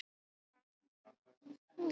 þetta er rökrétt út frá þróunarlegum forsendum